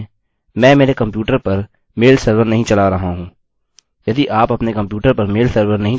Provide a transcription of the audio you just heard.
अब वास्तव में मैं मेरे कम्प्यूटर पर मेल सर्वर नहीं चला रहा हूँ